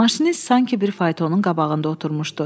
Maşinist sanki bir faytonun qabağında oturmuşdu.